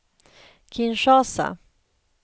Kinshasa